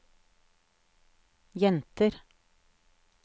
jenter